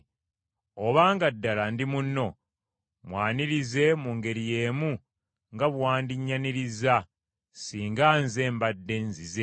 Obanga ddala ndi munno, mwanirize mu ngeri y’emu nga bwe wandinnyanirizza singa nze mbadde nzize.